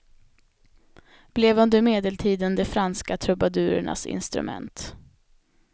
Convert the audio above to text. Blev under medeltiden de franska trubadurernas instrument.